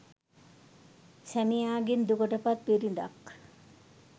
සැමියාගෙන් දුකට පත් බිරිඳක්